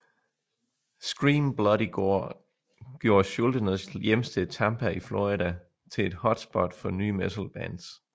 Scream Bloody Gore gjorde Schuldiners hjemsted Tampa i Florida til et hotspot for nye metal bands